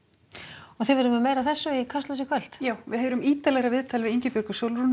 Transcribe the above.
og þið verðið með meira af þessu í Kastljósi í kvöld já við heyrum ítarlegra viðtal við Ingibjörgu Sólrúnu